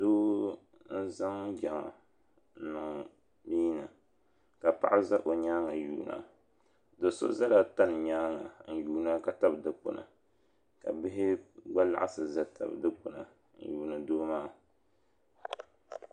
Doo n zaŋ jaŋa n niŋ mia ni ka paɣa za o nyaanga yuuna do'so zala tani nyaanga n yuuna ka tabi dikpini ka bihi gba laɣasi n gba tabi dikpini n yuuni doo maa.